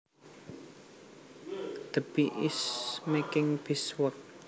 That bee is making beeswax